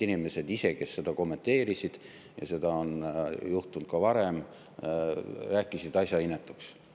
Inimesed ise, kes seda kommenteerisid – ja seda on juhtunud ka varem –, rääkisid asja inetuks.